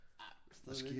Ja men stadigvæk